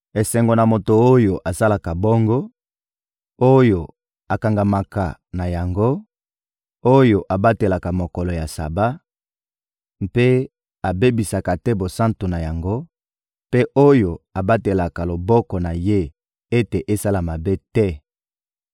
Esengo na moto oyo asalaka bongo, oyo akangamaka na yango, oyo abatelaka mokolo ya Saba mpe abebisaka te bosantu na yango, mpe oyo abatelaka loboko na ye ete esala mabe te!»